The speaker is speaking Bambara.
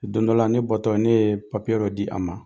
Don dɔ la ne bɔtɔ ne ye dɔ di a ma.